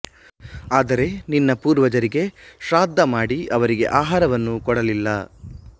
ಆದರೆ ನಿನ್ನ ಪೂರ್ವಜರಿಗೆ ಶ್ರಾದ್ಧ ಮಾಡಿ ಅವರಿಗೆ ಆಹಾರವನ್ನು ಕೊಡಲಿಲ್ಲಾ